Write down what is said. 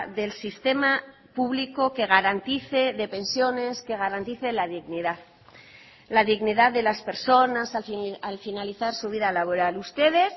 del sistema público que garantice de pensiones que garantice la dignidad la dignidad de las personas al finalizar su vida laboral ustedes